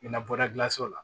I bɛna bɔra gilanso la